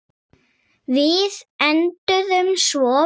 Við enduðum svo vel.